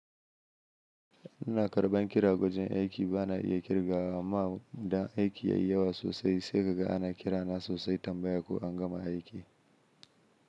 Ina karɓan kira wajen aiki ba na iya kirgawa amma idan aiki ya yi yawa sosai, sai ka ga ana kira na sosai tambaya ko an gama aiki.